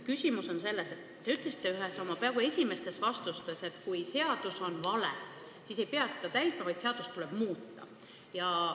Küsimus on selles, et te ütlesite ühes oma esimestest vastustest, et kui seadus on vale, siis ei pea seda täitma, vaid seadust tuleb muuta.